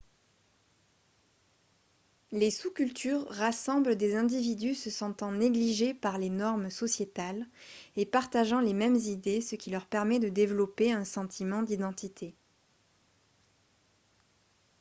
les sous-cultures rassemblent des individus se sentant négligés par les normes sociétales et partageant les mêmes idées ce qui leur permet de développer un sentiment d'identité